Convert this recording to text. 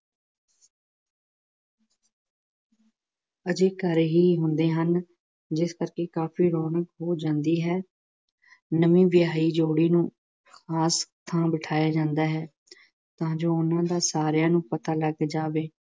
ਹਜੇ ਘਰ ਹੀ ਹੁੰਦੇ ਹਨ ਜਿਸ ਕਰਕੇ ਕਾਫੀ ਰੌਣਕ ਹੋ ਜਾਂਦੀ ਹੈ, ਨਵੀਂ ਵਿਆਹੀ ਜੋੜੀ ਨੂੰ ਖਾਸ ਥਾਂ ਬਿਠਾਇਆ ਜਾਂਦਾ ਹੈ ਉਂਝ ਉਹਨਾ ਨਾ ਸਾਰਿਆਂ ਨੂੰ ਪਤਾ ਲੱਗ ਜਾਵੇ।